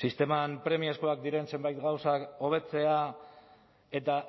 sisteman premiazkoak diren zenbait gauzak hobetzea eta